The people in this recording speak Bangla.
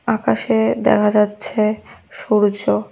আকাশে দেখা যাচ্ছে সূর্য।